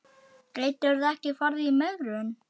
Gætirðu ekki farið í megrun?